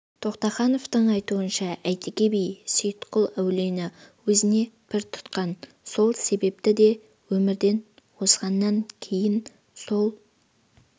тоқтахановтың айтуынша әйтеке би сейітқұл әулиені өзіне пір тұтқан сол себепті де өмірден озғаннан кейін сол